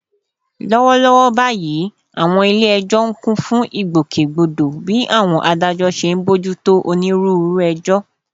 Lọ́wọ́lọ́wọ́ báyìí, àwọn ilé ẹjọ́ ń kún fún ìgbòkègbodò bí àwọn adájọ́ ṣe ń bójú tó onírúurú ẹjọ́